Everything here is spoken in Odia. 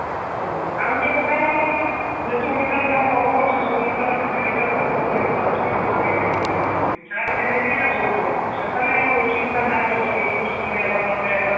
ହଁ ଆଉ ତେ କଥା ହେଲା ଆମର ଜେଟ ଉଡିଶାର ଯାହା ପର୍ବ ଅଛି ସବୁ ଗୋଟେ ଲେଖା serving ନେଇକିରି ଆଉ ସବୁ ପର୍ବ specially ଆମର west ଓଡିଶା ରେ ଯାହା culture ଅଛି ପୁଷ ପୁନେଇ ହେଲା ନୂଆଖାଇ ହେଲା